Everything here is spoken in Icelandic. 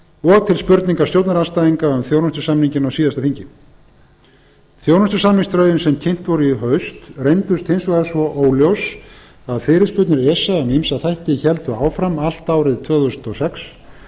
og til spurninga stjórnarandstæðinga um þjónustusamninginn á síðasta þingi þjónustusamningsdrögin sem kynnt voru í haust reyndust hins vegar svo óljós að fyrirspurnir esa um ýmsa þætti héldu áfram allt árið tvö þúsund og sex